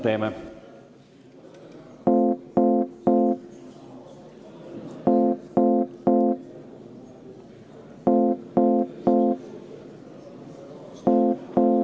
Teeme seda.